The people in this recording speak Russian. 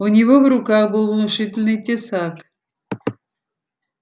у него в руках был внушительный тесак